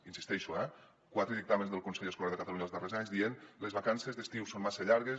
hi insisteixo eh quatre dictàmens del consell escolar de catalunya els darrers anys dient les vacances d’estiu són massa llar·gues